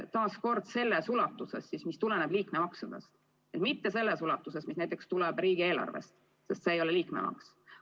Aga kordan: selles ulatuses, mis tuleneb liikmemaksudest, mitte selles ulatuses, mis tuleneb näiteks riigieelarvest, sest see raha ei ole liikmemaks.